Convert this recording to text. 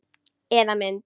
Eða mynd.